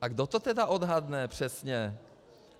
A kdo to tedy odhadne přesně?